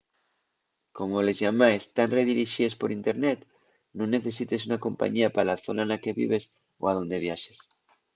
como les llamaes tán redirixíes per internet nun necesites una compañía pa la zona na que vives o a onde viaxes